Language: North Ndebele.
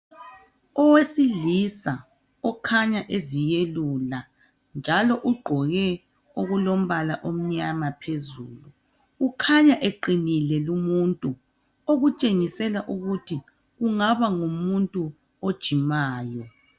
Owesilisa okhanya eziyelula njalo ugqoke okulombala omnyama phezulu. Ukhanya eqinile lumuntu okushengisela ukuthi kungaba ngumuntu ojimayo.